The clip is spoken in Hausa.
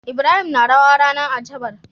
Ibrahim na rawa ranar asabar